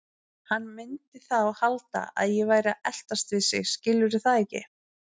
Hann mundi þá halda að ég væri að eltast við sig, skilurðu það ekki?